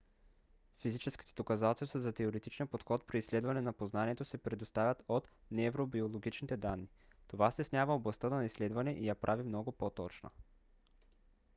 физическите доказателства за теоретичния подход при изследване на познанието се предоставят от невробиологичните данни. това стеснява областта на изследване и я прави много по-точна